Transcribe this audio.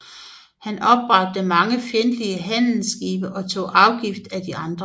Han opbragte mange fjendtlige handelsskibe og tog afgift af andre